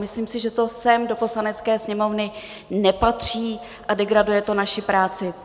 Myslím si, že to sem do Poslanecké sněmovny nepatří a degraduje to naši práci.